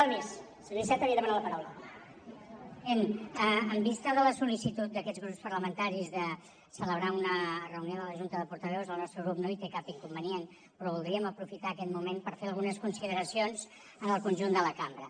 president en vista de la sol·licitud d’aquests grups parlamentaris de celebrar una reunió de la junta de portaveus el nostre grup no hi té cap inconvenient però voldríem aprofitar aquest moment per fer algunes consideracions al conjunt de la cambra